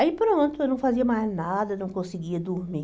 Aí pronto, eu não fazia mais nada, não conseguia dormir.